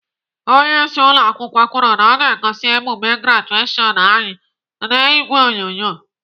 Onyeisi ụlọakwụkwọ kwuru na ọ ga-egosi emume grajeshion anyị n'ìgwè onyonyo.